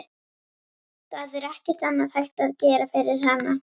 Það er ekkert annað hægt að gera fyrir hana.